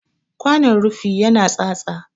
Kwanon rufi ya na tsatsa.